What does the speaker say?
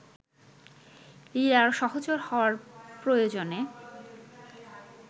লীলার সহচর হওয়ার প্রয়োজনে